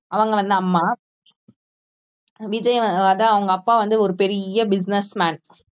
அவங்க வந்து அம்மா விஜய் வ~ அதான் அவங்க அப்பா வந்து ஒரு பெரிய business man